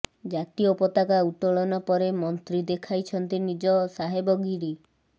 ଜାତୀୟ ପତାକା ଉତୋଳନ ପରେ ମନ୍ତ୍ରୀ ଦେଖାଇଛନ୍ତି ନିଜ ସାହେବଗିରି